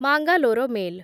Mangalore mail